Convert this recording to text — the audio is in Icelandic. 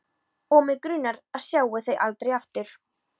Og mig grunar að ég sjái þau aldrei aftur.